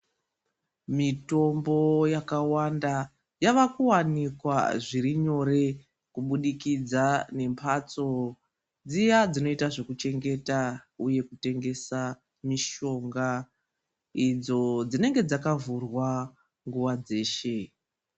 Mitombo yakawanda yava kuwanikwa zviri nyore kubudikidza ne mbatso dziya dzinoita zvekuchengeta uye kutengesa mishonga idzo dzinenge dzakavhurwa nguwa dzeshe.